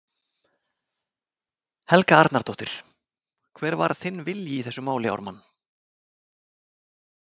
Helga Arnardóttir: Hver var þinn vilji í þessu máli, Ármann?